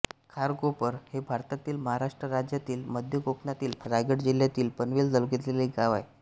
खारकोंपर हे भारतातील महाराष्ट्र राज्यातील मध्य कोकणातील रायगड जिल्ह्यातील पनवेल तालुक्यातील एक गाव आहे